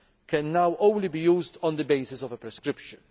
feed can now only be used on the basis of a prescription.